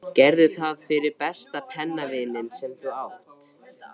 Gerðu það fyrir besta pennavininn sem þú átt.